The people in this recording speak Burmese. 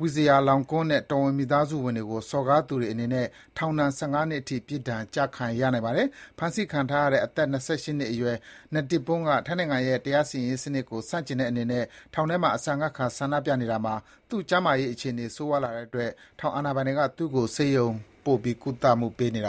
Vajiralongkorn နဲ့ တော်ဝင်မိသားစုဝင်တွေကို စော်ကားသူတွေအနေနဲ့ အမြင့်ဆုံး ထောင်ဒဏ် ၁၅ နှစ်အထိ ပြစ်ဒဏ် ကျခံရနိုင်ပါတယ်။ ဖမ်းဆီးခံထားရတဲ့ အသက် ၂၈ နှစ်အရွယ် Netiporn Sanae-sangkhom က ထိုင်းနိုင်ငံရဲ့ တရားစီရင်ရေးစနစ်ကို ဆန့်ကျင်တဲ့အနေနဲ့ ထောင်ထဲမှာ အစာငတ်ခံ ဆန္ဒပြနေတာမှာ သူ့ကျန်းမာရေးအခြေအနေ ဆိုးရွားလာတဲ့အတွက် ထောင်အာဏာပိုင်တွေက သူ့ကို ဆေးရုံပို့ ကုသမှုပေးနေခဲ့တာ